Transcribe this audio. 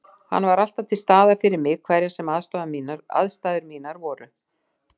Hann var alltaf til staðar fyrir mig hverjar sem aðstæður mínar voru.